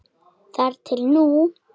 Þar til nú.